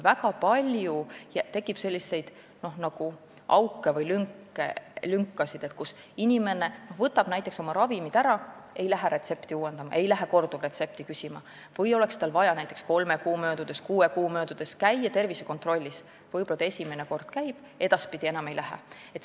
Väga palju tekib selliseid auke või lünkasid, kui inimene võtab näiteks ravimid ära, aga ei lähe retsepti uuendama, ta ei lähe korduvretsepti küsima, või kui tal oleks vaja näiteks kolme või kuue kuu möödudes käia tervisekontrollis, siis ta võib-olla esimene kord käib, aga edaspidi enam ei lähe.